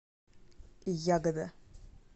ягода